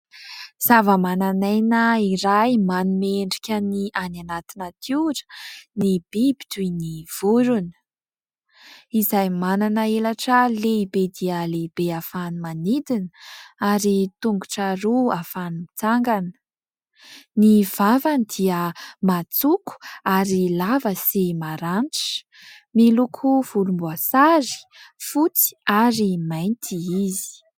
Zava-mananaina iray manome endrika ny any anaty natiora ny biby toy ny vorona, izay manana elatra lehibe dia lehibe ahafahany manidina ary tongotra roa ahafahany mitsangana. Ny vavany dia matsoko ary lava sy maranitra. Miloko volomboasary, fotsy ary mainty izy.